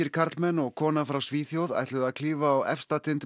karlmenn og kona frá Svíþjóð ætluðu að klífa á efsta tind